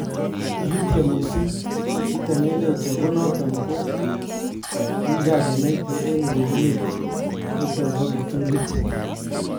Kikityeem missing, kitemenenech ako noton ko kiit nekikenaita en urerenet". niton bo kiptuliit